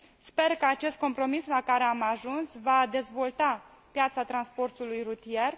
Sper că acest compromis la care am ajuns va dezvolta piața transportului rutier.